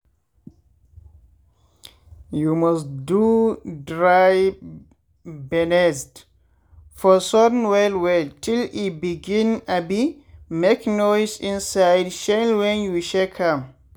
you must do dry bennesd for sun well well till e begin abi make noise inside shell wen you shake am.